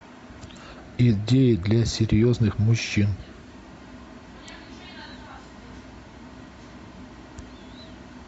идеи для серьезных мужчин